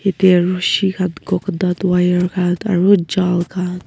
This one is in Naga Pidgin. roshi khan coconut wire khan aro jal khan--